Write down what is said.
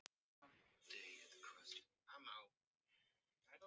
Hvernig ætti neitt að vera í lagi?